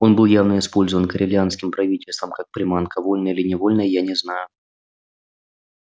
он был явно использован корелианским правительством как приманка вольно или невольно я не знаю